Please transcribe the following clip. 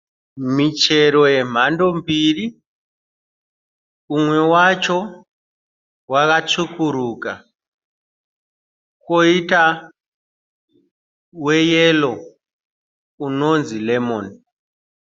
Michero yemhando mbiri. Umwe wacho wakatsvukuruka koita weyero unonzi remoni.